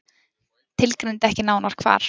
Tilgreindi ekki nánar hvar.